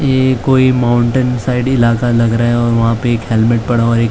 ये कोई mountain side इलाका लग रहा है और वहां पे एक हेलमेट पड़ा और एक--